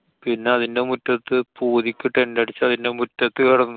പിന്നെ അതിന്‍റെ മുറ്റത്ത് പൂതിക്ക്‌ tent അടിച്ച് അതിന്‍റെ മുറ്റത്ത് കെടന്നു.